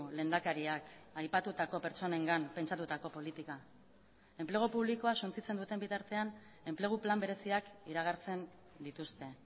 lehendakariak aipatutako pertsonengan pentsatutako politika enplegu publikoa suntsitzen duten bitartean enplegu plan bereziak iragartzen dituzte